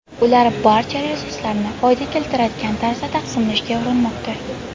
Ular barcha resurslarni foyda keltiradigan tarzda taqsimlashga urinmoqda.